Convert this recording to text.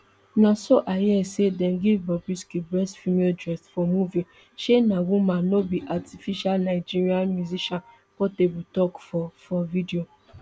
na so i hear say dem give bobrisky best female dressed for movie shey na woman no be artificialnigerian musician portabletok for for video